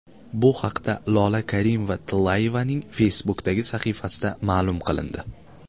Bu haqda Lola Karimova-Tillayevaning Facebook’dagi sahifasida ma’lum qilindi .